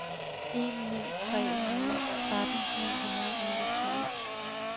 en ni tre nul tretten ni hundrede og niogtyve